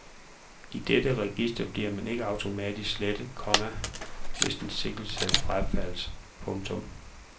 I dette register bliver man ikke automatisk slettet, komma hvis en sigtelse frafaldes. punktum